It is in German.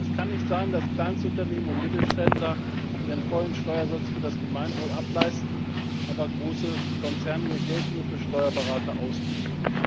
Es kann nicht sein, dass Kleinstunternehmen und Mittelständler ihren vollen Steuersatz für das Gemeinwohl ableisten, aber große Konzerne ihr Geld nur für Steuerberater ausgeben.